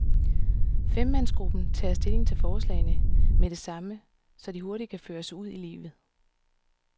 Femmandsgruppen tager stilling til forslagene med det samme, så de hurtigt kan føres ud i livet.